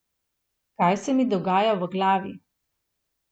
Kaj se mi dogaja v glavi?